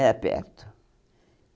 perto.